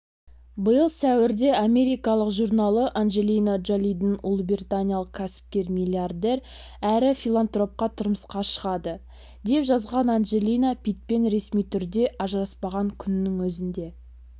биыл сәуірде америкалық журналы анджелина джолидің ұлыбританиялық кәсіпкер-миллиардер әрі филантропқа тұрмысқа шығады деп жазған анджелина питтпен ресми түрде ажыраспаған күннің өзінде